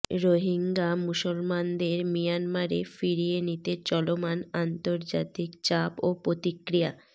রোহিঙ্গা মুসলমানদের মিয়ানমারে ফিরিয়ে নিতে চলমান আন্তর্জাতিক চাপ ও প্রতিক্রিয়া